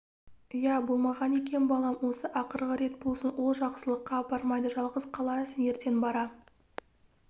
иә мұның болмаған екен балам осы ақырғы рет болсын ол жақсылыққа апармайды жалғыз қаласың ертең бара